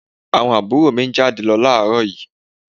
Àwọn àbúrò mi jáde lọ ní àárọ̀ yìí